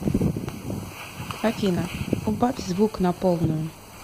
афина убавь звук на полную